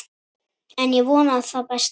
En ég vona það besta.